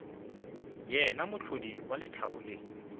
yena mohlodi wa lethabo le